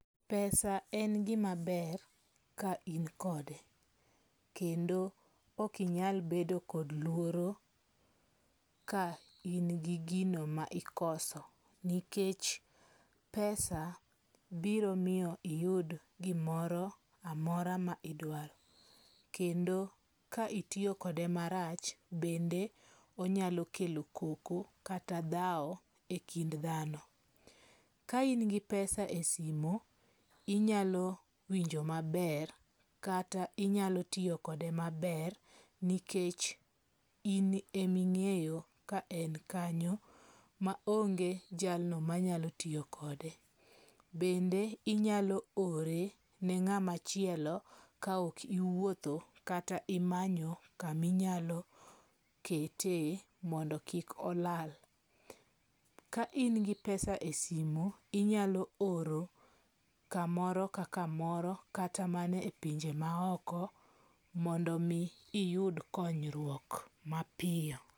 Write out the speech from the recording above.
Pesa en gima ber ka in kode. Kendo ok inyal bedo kod luoro ka in gi gino ma ikoso. Nikech pesa biro miyo iyud gimoro amora ma idwaro. Kendo ka itiyo kode marach bende onyalo kelo koko kata dhawo e kind dhano. Ka in gi pesa e simo, inyalo winjo maber kata inyalo tiyo kode maber nikech in eming'eyo ka en kanyo ma onge jalno manyalo tiyo kode. Bende inyalo ore ne ng'amachielo ka ok iwuotho kata imanyo kama inyalo kete mondo kik olal. Ka in gi pesa e sumo, inyalo oro kamoro ka kamoro kata mane e pinje ma oko mondo mi iyud konyruok mapiyo.